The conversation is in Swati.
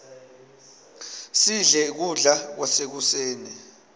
sidle kudla kwasekuseni